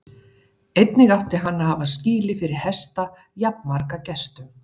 Einnig átti hann að hafa skýli fyrir hesta jafnmarga gestum.